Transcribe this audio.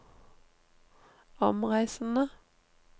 omreisende